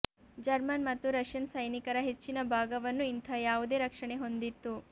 German ಮತ್ತು Russian ಸೈನಿಕರ ಹೆಚ್ಚಿನ ಭಾಗವನ್ನು ಇಂಥ ಯಾವುದೇ ರಕ್ಷಣೆ ಹೊಂದಿತ್ತು